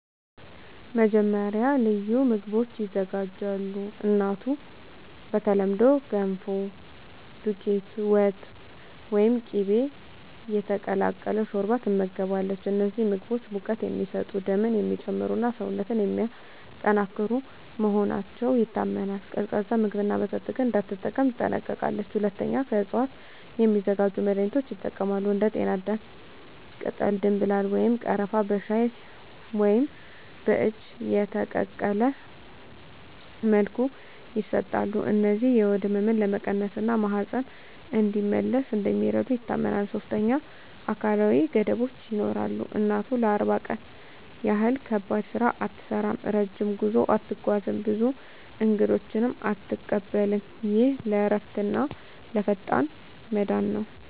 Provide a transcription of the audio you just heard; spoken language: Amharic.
መጀመሪያ፣ ልዩ ምግቦች ይዘጋጃሉ። እናቱ በተለምዶ “ገንፎ”፣ “ዱቄት ወጥ” ወይም “ቅቤ የተቀላቀለ ሾርባ” ትመገባለች። እነዚህ ምግቦች ሙቀት የሚሰጡ፣ ደምን የሚጨምሩ እና ሰውነትን የሚያጠናክሩ መሆናቸው ይታመናል። ቀዝቃዛ ምግብና መጠጥ ግን እንዳትጠቀም ትጠነቀቃለች። ሁለተኛ፣ ከእፅዋት የሚዘጋጁ መድኃኒቶች ይጠቀማሉ። እንደ ጤናዳም ቅጠል፣ ደምብላል ወይም ቀረፋ በሻይ ወይም በእጅ የተቀቀለ መልኩ ይሰጣሉ። እነዚህ የሆድ ህመምን ለመቀነስ እና ማህፀን እንዲመለስ እንደሚረዱ ይታመናል። ሶስተኛ፣ አካላዊ ገደቦች ይኖራሉ። እናቱ ለ40 ቀን ያህል ከባድ ስራ አትሠራም፣ ረጅም ጉዞ አትጓዝም፣ ብዙ እንግዶችንም አትቀበልም። ይህ ለእረፍትና ለፈጣን መዳን ነው